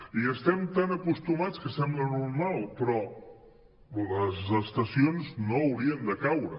hi estem tan acostumats que sembla normal però les estacions no haurien de caure